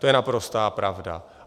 To je naprostá pravda.